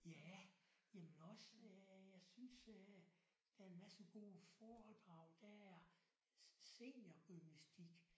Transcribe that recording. Ja jamen også jeg synes øh der er en masse gode foredrag der er seniorgymnastik